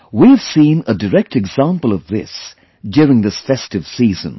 We have seen a direct example of this during this festive season